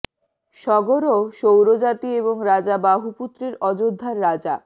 সগরঃ সৌর জাতি এবং রাজা বাহু পুত্রের অযোধ্যার রাজা